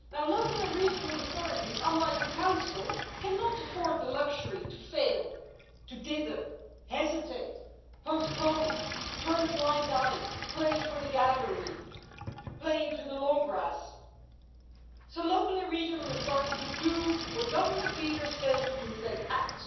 Local and regional authorities unlike the Council, cannot afford the luxury to fail, to dither, hesitate, postpone, turn a blind eye, play to the gallery, play into the long grass, so local and regional authorities do what government leaders fail to do, they act.